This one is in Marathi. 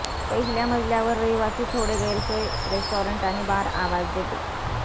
पहिल्या मजल्यावर रहिवासी थोडे गैरसोय रेस्टॉरंट आणि बार आवाज देते